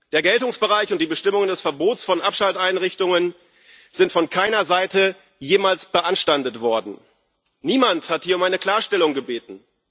Der Geltungsbereich und die Bestimmungen des Verbots von Abschalteinrichtungen sind von keiner Seite jemals beanstandet worden, niemand hat hier um eine Klarstellung gebeten.